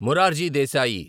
Morarji Desai